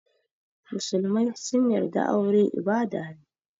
Musulmai sun yarda aure ibada ne.